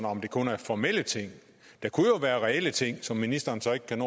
om det kun er formelle ting der kunne jo være reelle ting som ministeren så ikke kan